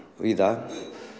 víða